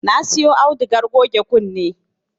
Na siyo audugar goge kunne